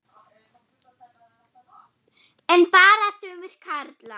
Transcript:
En bara sumir karlar.